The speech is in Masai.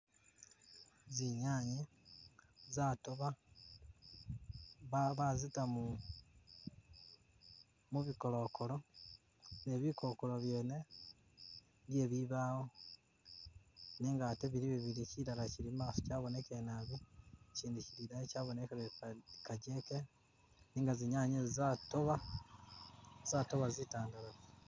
Zinyanye zatoba bazita mu, mu bikokolo, ne bi kokolo byene bye bibaawo nenga ate bili bibili chilala chili imaso chabonekele naabi chindi chili idayi chabonekele kajeche nenga zinyanye zo zatoba, zatoba zitandalafu.